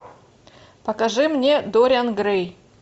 покажи мне дориан грей